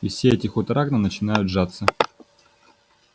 и все эти хутора к нам начинают жаться